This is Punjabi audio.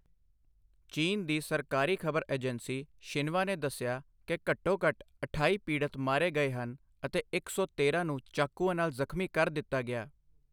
ਚੀਨ ਦੀ ਸਰਕਾਰੀ ਖ਼ਬਰ ਏਜੰਸੀ ਸ਼ਿਨਵਾ ਨੇ ਦੱਸਿਆ ਕਿ ਘੱਟੋ ਘੱਟ ਅਠਾਈ ਪੀੜਤ ਮਾਰੇ ਗਏ ਹਨ ਅਤੇ ਇੱਕ ਸੌ ਤੇਰਾਂ ਨੂੰ ਚਾਕੂਆਂ ਨਾਲ ਜ਼ਖਮੀ ਕਰ ਦਿੱਤਾ ਗਿਆ